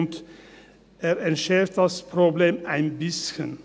Er entschärft das Problem ein bisschen.